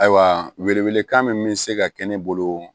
Ayiwa welewelekan min bɛ se ka kɛ ne bolo